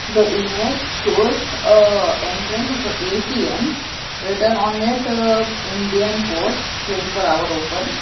the image shows a entrance of a A_T_M written on it indian post twenty four hour open.